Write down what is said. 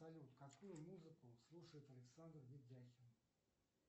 салют какую музыку слушает александр ледяхин